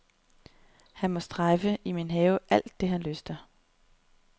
Han må strejfe i min have alt det, han lyster.